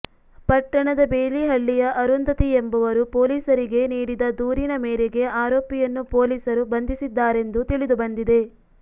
ಪಟ್ಟಣದ ಬೇಲಿಹಳ್ಳಿಯ ಅರುಂಧತಿ ಎಂಬವರು ಪೊಲೀಸರಿಗೆ ನೀಡಿದ ದೂರಿನ ಮೇರೆಗೆ ಆರೋಪಿಯನ್ನು ಪೊಲೀಸರು ಬಂಧಿಸಿದ್ದಾರೆಂದು ತಿಳಿದು ಬಂದಿದೆ